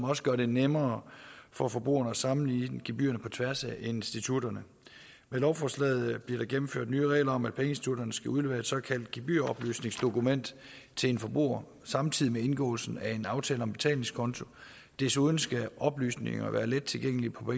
også gør det nemmere for forbrugerne at sammenligne gebyrer på tværs af institutterne med lovforslaget bliver der indført nye regler om at pengeinstitutterne skal udlevere et såkaldt gebyroplysningsdokument til en forbruger samtidig med indgåelsen af en aftale om betalingskonto desuden skal oplysninger være let tilgængelige på